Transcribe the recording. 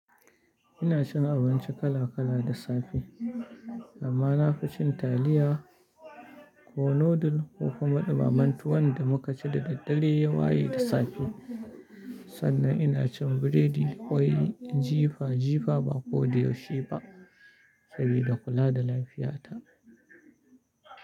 Ina cin abinci kala kala da safe, amma na fi cin taliya ko noodle ko kuma ɗumamen tuwan da mu kaci da ɗaddare ya waye da safe. Sannan ina cin biredi da kwai jifa jifa ba ko da yaushe ba sabida kula da lafiyata.